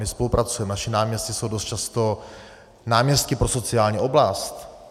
My spolupracujeme, naši náměstci jsou dost často náměstky pro sociální oblast.